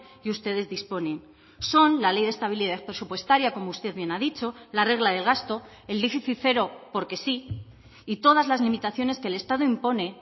y ustedes disponen son la ley de estabilidad presupuestaria como usted bien ha dicho la regla del gasto el déficit cero porque sí y todas las limitaciones que el estado impone